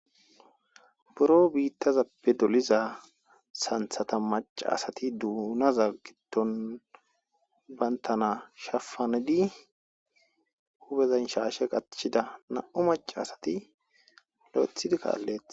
Duro biittazappe doliza santhata maca asati duunaza giddon bantana shafanedi hubezan shaashe qatchida na7u maca asati lo7ethidi kaalleet.